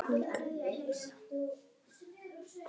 Voru þetta þá öll ráðin?